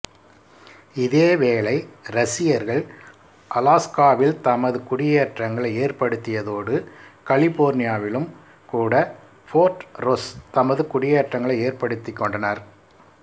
இதேவேளை ரசியர்கள் அலாஸ்காவில் தமது குடியேற்றங்களை ஏற்படுத்தியதோடு கலிபோர்னியாவிலும் கூட ஃபோர்ட் ரொஸ் தமது குடியேற்றங்களை ஏற்படுத்திக் கொண்டனர்